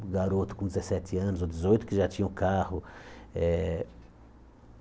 um garoto com dezesete anos ou dezoito que já tinha um carro. Eh